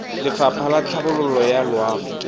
lefapha la tlhabololo ya loago